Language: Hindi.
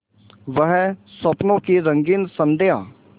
वह स्वप्नों की रंगीन संध्या